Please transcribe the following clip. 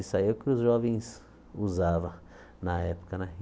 Isso aí é o que os jovens usavam na época né.